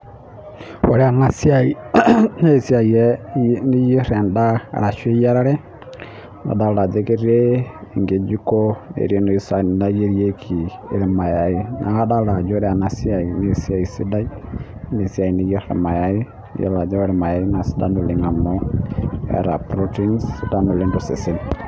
Wore ena siai naa esiai niyier endaa arashu eyiarare, nadoolta ajo ketii enkijiko netii enoshi saani nayierieki ilmayai. Neeku adoolta ajo wore ena siai naa esiai sidai. Naa esiai niyier ilmayai, iyiolo ajo wore ilmayai naa sidan oleng' amu eeta protein sidai oleng' tosesen.